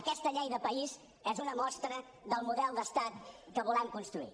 aquesta llei de país és una mostra del model d’estat que volem construir